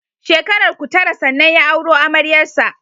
Shekararku Tara sannan ya auro amaryar sa